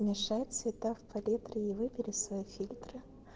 мешать цвета в палитре и выбери свои фильтры